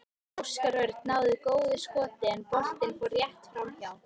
Óskar Örn náði góðu skoti en boltinn fór rétt framhjá.